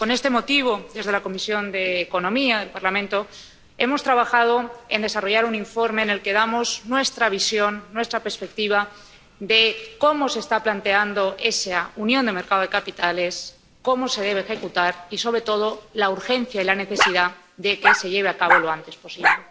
Con este motivo, en la Comisión de Asuntos Económicos y Monetarios del Parlamento, hemos trabajado para elaborar un informe en el que damos nuestra visión, nuestra perspectiva, de cómo se está planteando esa unión de los mercados de capitales, cómo se debe ejecutar, y, sobre todo, señalamos la urgencia y la necesidad de que se lleve a cabo lo antes posible.